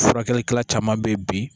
Furakɛlikɛla caman be yen bi